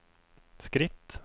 skritt